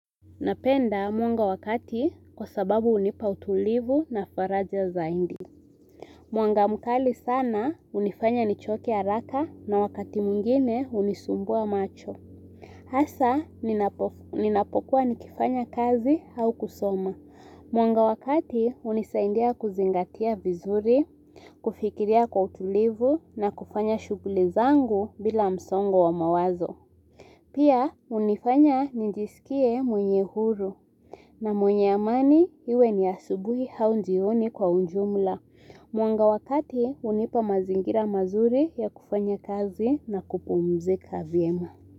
Napenda mwanga wa kati kwa sababu hunipa utulivu na faraja zaidi. Mwanga mkali sana hunifanya nichoke haraka na wakati mwingine hunisumbua macho. Hasa ninapokuwa nikifanya kazi au kusoma. Mwanga wa kati hunisaidia kuzingatia vizuri, kufikiria kwa utulivu na kufanya shughuli zangu bila msongo wa mawazo. Pia hunifanya nijisikie mwenye huru na mwenye amani iwe ni asubuhi au jioni kwa ujumla. Mwanga wakati hunipa mazingira mazuri ya kufanya kazi na kupumzika vyema.